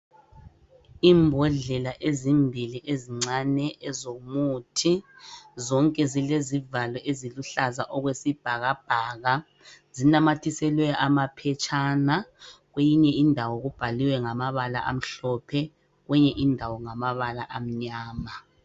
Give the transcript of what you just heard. Imbodlela ezimbili ezincane ezomuthi zonke zilezivalo eziluhlaza okwesibhaka bhaka zinamathiselwe amaphetshana kweyinye indawo kubhaliwe ngamabala amhlophe kwenye indawo ngamabala amnyama.